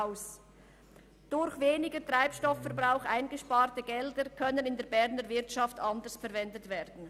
Das durch einen geringeren Treibstoffverbrauch eingesparte Geld könnte in der Berner Wirtschaft anders verwendet werden.